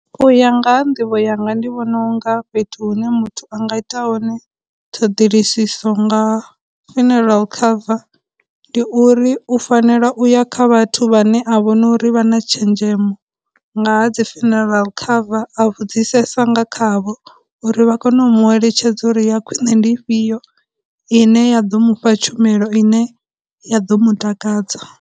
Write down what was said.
U ya nga ha nḓivho yanga ndi vhona u nga fhethu hune muthu anga ya hone ṱhoḓiliso nga funeral cover ndi uri u fanela u ya kha vhathu vhane a vhono uri vha na tshenzhemo nga ha dzi funeral cover a vhudzisesa nga khavho uri vha kone u mu eletshedza uri ya khwine ndi ifhio ine ya ḓo mufha tshumelo ine ya ḓo mu takadza